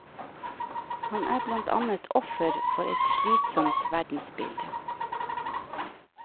Han er blant annet offer for et slitsomt verdensbilde.